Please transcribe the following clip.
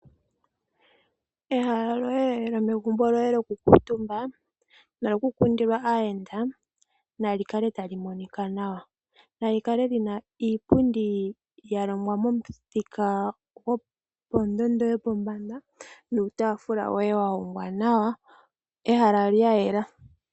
Ehala lyomegumbo lyoye lyokukuutumba nokukundila aayenda nali kale tali monika nawa. Nali kale li na iipundi ya longwa momuthika gondondo yopombanda nuutaafula woye wa hongwa nawa. Ehala lya yela.